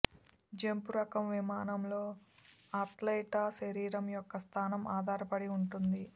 jump రకం విమానంలో అథ్లెట్ల శరీరం యొక్క స్థానం ఆధారపడి ఉంటుంది